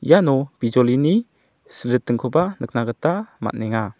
iano bijolini silritingkoba nikna gita man·enga.